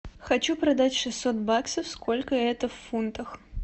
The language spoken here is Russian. хочу продать шестьсот баксов сколько это в фунтах